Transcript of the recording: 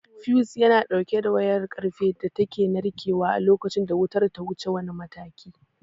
Fiyus yana ɗauke da wayar ƙarfe da take narkewa a lokacin da wutar ta wuce wani mataki.